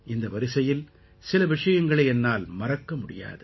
இந்த வரிசையில் சில விஷயங்களை என்னால் மறக்க முடியாது